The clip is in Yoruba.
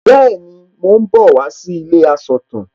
Bẹ́ẹ̀ni, mò ń bọ̀ wá sí ilé asọ̀tàn